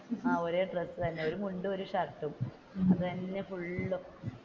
ഒരേ ഡ്രസ്സ് തന്നെ ഒരു മുണ്ടും ഒരു ഷർട്ടും അത് തന്നെ ഫുള്ളും.